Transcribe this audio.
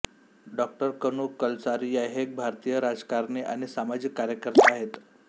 डॉ कनू कलसारिया हे एक भारतीय राजकारणी आणि सामाजिक कार्यकर्ते आहेत